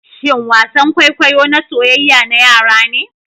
shin wasan kwaikwayo na soyyaya na yara ne?